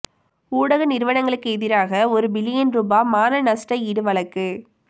ஊடக நிறுவனங்களுக்கு எதிராக ஒரு பில்லியன் ரூபா மான நஷ்டஈடு வழக்கு